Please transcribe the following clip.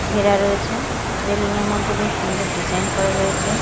ঘেরা রয়েছে রেলিং -এর মধ্যে বেশ সুন্দর ডিজাইন করা রয়েছে।